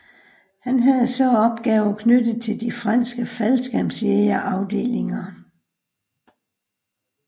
Han havde så opgaver knyttet til de franske faldskærmsjægerafdelinger